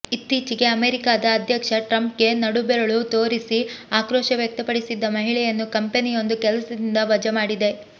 ಇತ್ತೀಚೆಗೆ ಅಮೇರಿಕಾದ ಅಧ್ಯಕ್ಷ ಟ್ರಂಪ್ ಗೆ ನಡು ಬೆರಳು ತೋರಿಸಿ ಆಕ್ರೋಶ ವ್ಯಕ್ತಪಡಿಸಿದ್ದ ಮಹಿಳೆಯನ್ನು ಕಂಪೆನಿಯೊಂದು ಕೆಲಸದಿಂದ ವಜಾ ಮಾಡಿದೆ